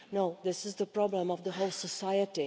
No, this is the problem of the whole society.